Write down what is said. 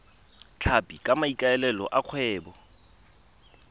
tlhapi ka maikaelelo a kgwebo